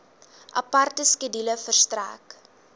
aparte skedule verstrek